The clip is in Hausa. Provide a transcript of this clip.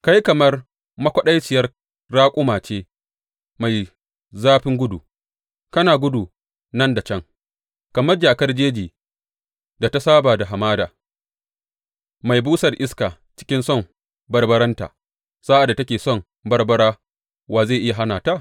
Kai kamar makwaɗaciyar raƙuma ce mai zafin gudu kana gudu nan da can, kamar jakar jejin da ta saba da hamada, mai busar iska cikin son barbaranta sa’ad da take son barbara wa zai iya hana ta?